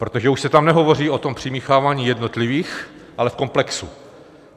Protože už se tam nehovoří o tom přimíchávání jednotlivých, ale v komplexu.